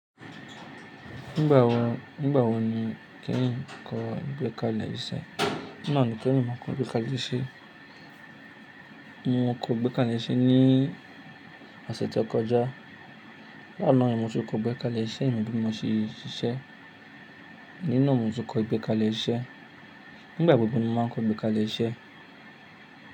Nígbà wo, nígbà wo ni o kehin kọ gbékalẹ̀ iṣẹ́? Nígbà wo ni kí emi máa kọ igbékalẹ̀ iṣẹ́? Mo kọ igbékalẹ̀ iṣẹ́ ní ọ̀sẹ̀ tó kọjá. Lánàá yi ni mo se kọ igbékalẹ̀ iṣẹ́ mi bí mo ṣe ṣiṣẹ́. Oni naa mo tun kọ igbékalẹ̀ iṣẹ́. Nígbà gbogbo ni mo máa ń kọ igbékalẹ̀ iṣẹ́